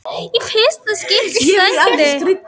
í fyrsta sæti.